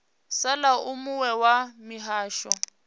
sala u muwe wa mihasho